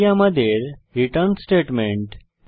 এটি আমাদের return statement